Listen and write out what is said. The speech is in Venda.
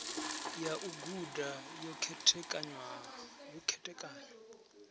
ya u guda yo khethekanywa